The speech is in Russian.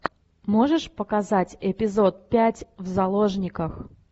можешь показать эпизод пять в заложниках